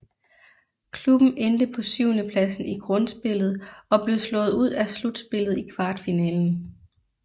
Klubben endte på syvendepladsen i grundspillet og blev slået ud af slutspillet i kvartfinalen